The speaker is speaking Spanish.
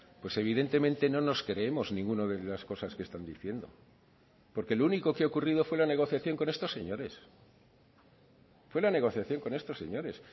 pues evidentemente no nos creemos ninguna de las cosas que están diciendo porque lo único que ha ocurrido fue la negociación con estos señores fue la negociación con estos señores